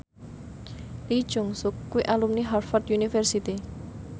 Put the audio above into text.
Lee Jeong Suk kuwi alumni Harvard university